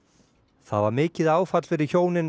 það var mikið áfall fyrir hjónin